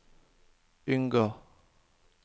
unngå